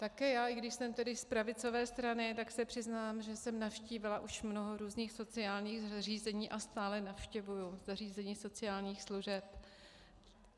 Také já, i když jsem tedy z pravicové strany, tak se přiznám, že jsem navštívila už mnoho různých sociálních zařízení a stále navštěvuji zařízení sociálních služeb.